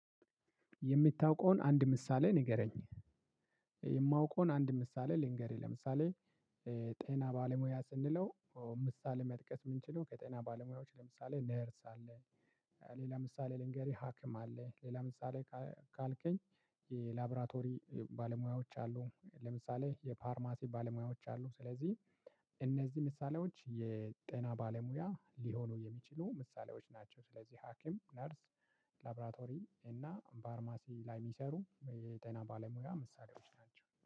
የምታውቀውን አንድ ምሳሌ ንገረኝ። የማውቀውን አንድ ምሳሌ ልንገርህ ለምሳሌ። ጤና ባለሙያ ስንለው ምሳሌ መጥቀስ የምንችለው ከጤና ባለሙያዎች ለምሳሌ ነርስ አለ። ሌላ ምሳሌ ልንገርህ ሀኪም አለ። ሌላ ምሳሌ ካልከኝ። የላብራቶሪ ባለሙያዎች አሉ ለምሳሌ የፓርማሲ ባለሙያዎች አሉ። ስለዚህ እነዚህ ምሳሌዎች የጤና ባለሙያ ሊሆኑ የሚችሉ ምሳሌዎች ናቸው። ስለዚህ ሀኪም ነርስ። ላብራቶሪ እና ፋርማሲ ላይ የሚሰሩ የጤና ባለሙያ ምሳሌዎች ናቸው